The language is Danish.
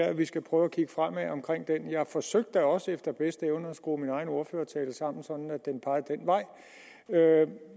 at vi skal prøve at kigge fremad jeg forsøgte da også efter bedste evne at skrue min egen ordførertale sådan sammen at den pegede den vej